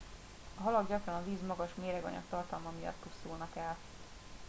a halak gyakran a víz magas méreganyag tartalma miatt pusztulnak el